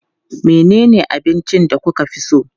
Menene abincin da kuka fi so?